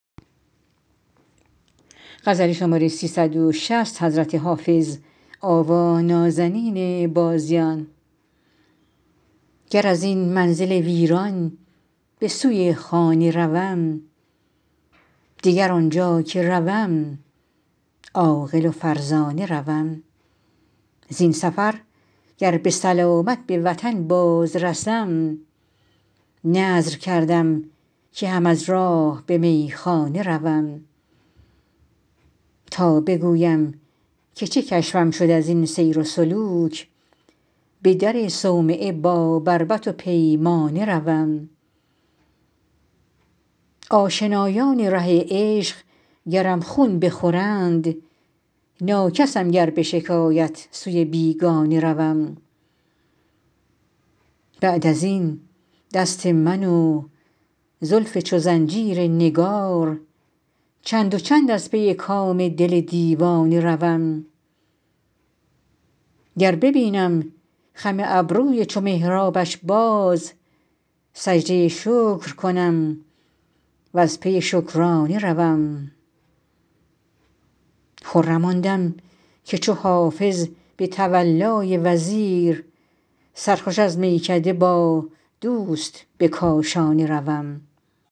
گر از این منزل ویران به سوی خانه روم دگر آنجا که روم عاقل و فرزانه روم زین سفر گر به سلامت به وطن باز رسم نذر کردم که هم از راه به میخانه روم تا بگویم که چه کشفم شد از این سیر و سلوک به در صومعه با بربط و پیمانه روم آشنایان ره عشق گرم خون بخورند ناکسم گر به شکایت سوی بیگانه روم بعد از این دست من و زلف چو زنجیر نگار چند و چند از پی کام دل دیوانه روم گر ببینم خم ابروی چو محرابش باز سجده شکر کنم و از پی شکرانه روم خرم آن دم که چو حافظ به تولای وزیر سرخوش از میکده با دوست به کاشانه روم